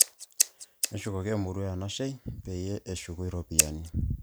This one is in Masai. Neshukoki emurua enashei peyie eshuku iropiyiani